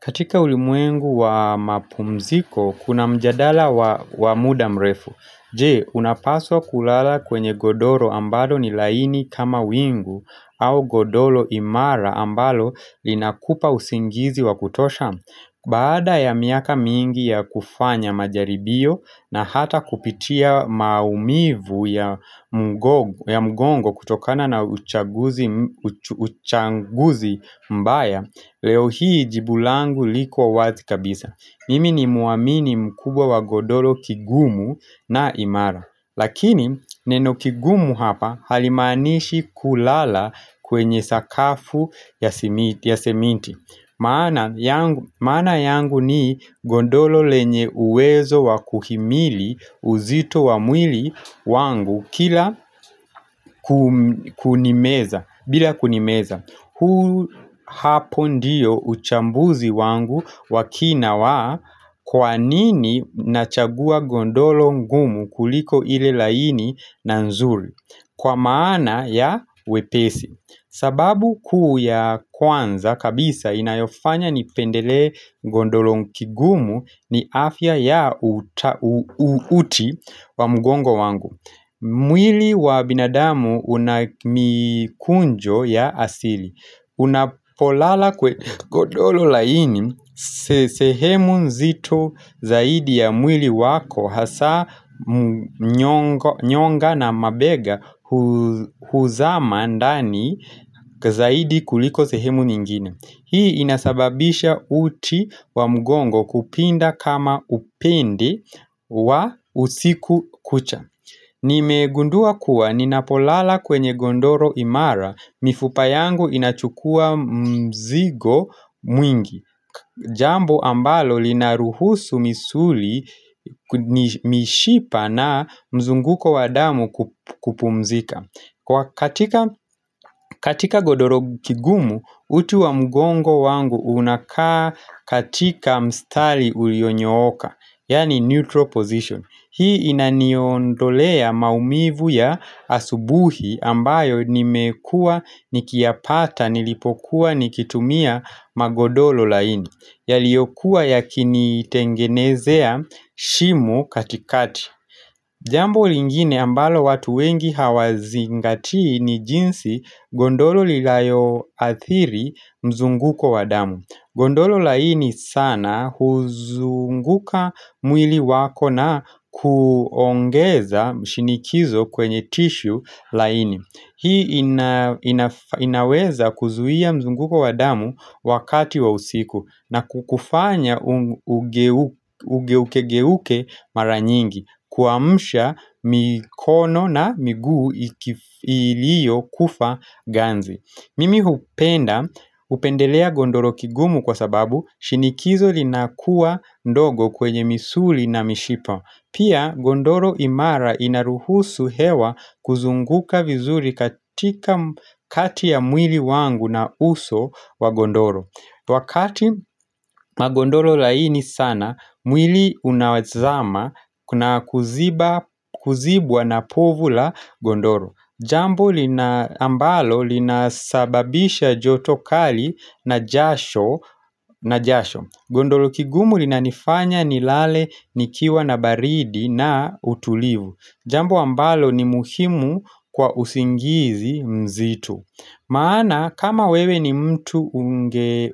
Katika ulimwengu wa mapumziko, kuna mjadala wa muda mrefu. Je, unapaswa kulala kwenye godoro ambalo ni laini kama wingu au godolo imara ambalo linakupa usingizi wa kutosha. Baada ya miaka mingi ya kufanya majaribio na hata kupitia maumivu ya mgongo kutokana na uchaguzi mbaya, Leo hii jibu langu liko wazi kabisa Nimi nimwamini mkubwa wa godolo kigumu na imara Lakini neno kigumu hapa halimanishi kulala kwenye sakafu ya semiti maana yangu ni gondolo lenye uwezo wa kuhimili uzito wa mwili wangu kila bila kunimeza, hapo ndiyo uchambuzi wangu wa kina wa kwa nini nachagua gondolo ngumu kuliko ile laini na nzuri Kwa maana ya wepesi sababu kuu ya kwanza kabisa inayofanya nipendele gondolo kigumu ni afya ya uuti wa mgongo wangu mwili wa binadamu unamikunjo ya asili Unapolala kwenye godolo laini sehemu nzito zaidi ya mwili wako Hasa nyonga na mabega huzama ndani zaidi kuliko sehemu nyingine Hii inasababisha uti wa mgongo kupinda kama upindi wa usiku kucha Nimegundua kuwa, ninapolala kwenye gondoro imara, mifupa yangu inachukua mzigo mwingi Jambo ambalo linaruhusu misuli, mishipa na mzunguko wa damu kupumzika katika godoro kigumu, utu wa mgongo wangu unakaa katika mstali uliyonyooka, yani neutral position Hii inaniondolea maumivu ya asubuhi ambayo nimekua nikiyapata nilipokuwa nikitumia magodolo laini, yaliokuwa yakinitengenezea shimo katikati. Jambo lingine ambalo watu wengi hawazingatii ni jinsi gondolo lilayoathiri mzunguko wa damu. Gondolo laini sana huzunguka mwili wako na kuongeza mshinikizo kwenye tishu laini. Hii inaweza kuzuia mzunguko wa damu wakati wa usiku na kukufanya ugeukegeuke mara nyingi kuamsha mikono na miguu ilio kufa ganzi Mimi hupenda upendelea gondoro kigumu kwa sababu shinikizo linakuwa ndogo kwenye misuli na mishipa Pia gondoro imara inaruhusu hewa kuzunguka vizuri katikati ya mwili wangu na uso wa gondoro Wakati magondoro laini sana, mwili unazama na kuzibwa na povu la gondoro Jambo ambalo linasababisha joto kali na jasho. Gondolo kigumu linanifanya nilale nikiwa na baridi na utulivu. Jambo ambalo ni muhimu kwa usingizi mzito. Maana kama wewe ni mtu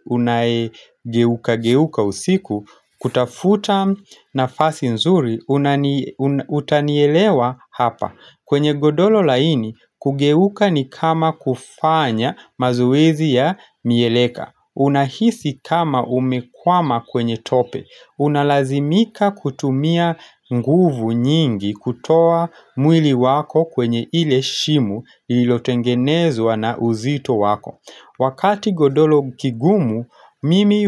unayegeukageuka usiku, kutafuta nafasi nzuri, utanielewa hapa. Kwenye godolo laini, kugeuka ni kama kufanya mazuwezi ya mieleka. Unahisi kama umekwama kwenye tope Unalazimika kutumia nguvu nyingi kutoa mwili wako kwenye ile shimo ililotengenezwa na uzito wako Wakati godoro kigumu mimi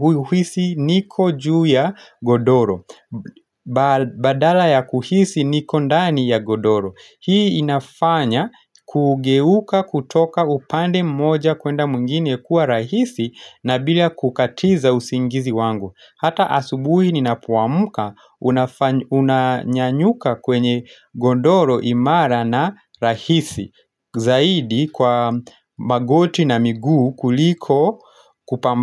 huisi niko juu ya godoro Badala ya kuhisi niko ndani ya godoro Hii inafanya kugeuka kutoka upande mmoja kwenda mwingine kuwa rahisi na bila kukatiza usingizi wangu. Hata asubuhi ninapoamuka unanyanyuka kwenye gondoro imara na rahisi. Zaidi kwa magoti na miguu kuliko kupamba.